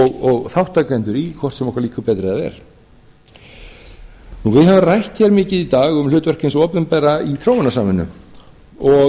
og þátttakendur í hvort sem okkur líka betur eða verr við höfum rætt hér mikið í dag um hlutverk hins opinbera í þróunarsamvinnu og